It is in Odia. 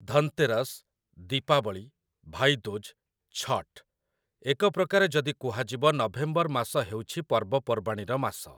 ଧନତେରସ୍, ଦୀପାବଳି, ଭାଇଦୁଜ୍, ଛଠ୍ - ଏକ ପ୍ରକାରେ ଯଦି କୁହାଯିବ, ନଭେମ୍ବର ମାସ ହେଉଛି ପର୍ବପର୍ବାଣୀର ମାସ ।